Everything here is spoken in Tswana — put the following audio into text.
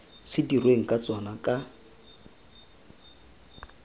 se dirweng ka tsona ka